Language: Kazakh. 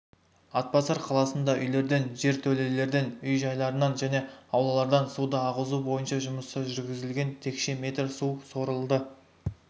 атбасар қаласында үйлерден жертөлелерден үй-жайларынан және аулалардан суды ағызу бойынша жұмыстар жүргізілген текше метр су сорылды